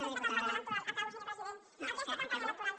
aquesta campanya electoral acabo senyor president aquesta campanya electoral